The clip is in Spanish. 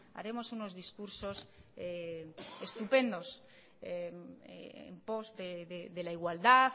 haremos unos discursos estupendos en post de la igualdad